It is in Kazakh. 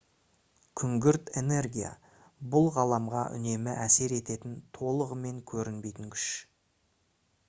күңгірт энергия бұл ғаламға үнемі әсер ететін толығымен көрінбейтін күш